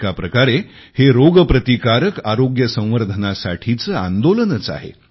एका प्रकारे हे रोगप्रतिकारक आरोग्य संवर्धनासाठीचे आंदोलनच आहे